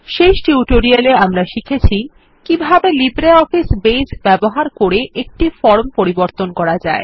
শেষ টিউটোরিয়ালে আমরা শিখেছি কিভাবে লিব্রিঅফিস বেস ব্যবহার করে একটি ফর্ম পরিবর্তন করা যায়